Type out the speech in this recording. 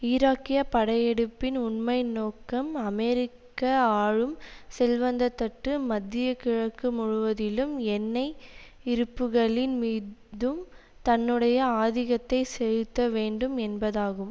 ஈராக்கிய படையெடுப்பின் உண்மை நோக்கம் அமெரிக்க ஆளும் செல்வந்த தட்டு மத்திய கிழக்கு முழுவதிலும் எண்ணெய் இருப்புகளின் மீ தும் தன்னுடைய ஆதிக்கத்தை செலுத்த வேண்டும் என்பதாகும்